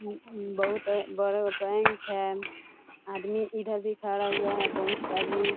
बहुत बड़ा बैंक है आदमी इधर भी खड़ा हुआ है बहुत आदमी।